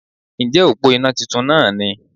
Ǹjẹ́ òpó iná titun náà ni